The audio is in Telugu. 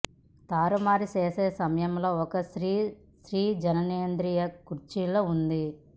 తారుమారు చేసే సమయంలో ఒక స్త్రీ స్త్రీ జననేంద్రియ కుర్చీలో ఉంది